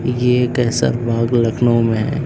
ये केसर बाग लखनऊ में है।